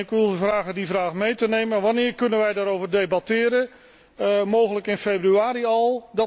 En ik wil vragen die vraag mee te nemen wanneer kunnen wij daarover debatteren, mogelijk in februari al?